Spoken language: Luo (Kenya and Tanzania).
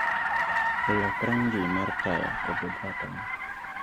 lok rangi mar taya obed ratong'